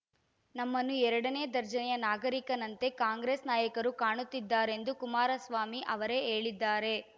ನಮ್ಮನ್ನು ಎರಡನೇ ದರ್ಜೆಯ ನಾಗರಿಕನಂತೆ ಕಾಂಗ್ರೆಸ್‌ ನಾಯಕರು ಕಾಣುತ್ತಿದ್ದಾರೆಂದು ಕುಮಾರಸ್ವಾಮಿ ಅವರೇ ಹೇಳಿದ್ದಾರೆ